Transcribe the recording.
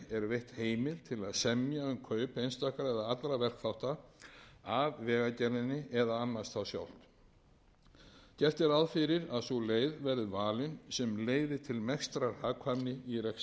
veitt heimild til að semja um kaup einstakra eða allra verkþátta af vegagerðinni eða annast þá sjálft gert er ráð fyrir sú leið verði valin sem leiði til mestrar hagkvæmni í rekstri hjá félaginu gert er